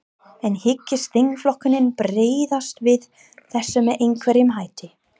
En hyggst þingflokkurinn bregðast við þessu með einhverjum hætti?